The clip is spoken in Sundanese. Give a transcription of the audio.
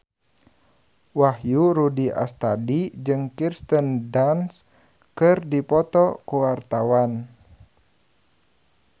Wahyu Rudi Astadi jeung Kirsten Dunst keur dipoto ku wartawan